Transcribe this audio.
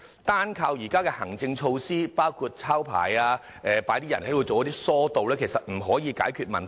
單靠現時的行政措施，包括"抄牌"和派人進行疏導其實不可以解決問題。